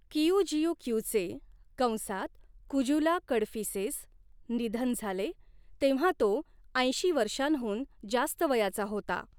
किऊजिऊक्यूचे कंसात कुजुला कडफिसेस निधन झाले तेव्हा तो ऐंशी वर्षांहून जास्त वयाचा होता.